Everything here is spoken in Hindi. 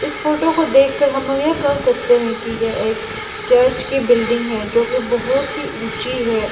इस फोटो को देखकर हमलोग यह कह सकते हैं कि यह एक चर्च की बिल्डिंग है जोकि बहोत ही ऊंची है।